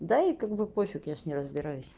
да и как бы пофиг я же не разбираюсь